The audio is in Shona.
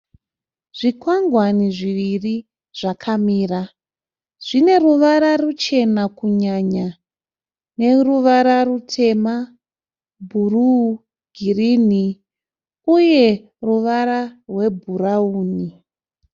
Zvikwangwani zviri zvakamira. Zvine ruvara ruchena kunyanya neruvara rutema, bhuru, girinhi uye ruvara rwebhurauni.